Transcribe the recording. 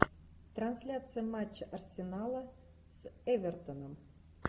трансляция матча арсенала с эвертоном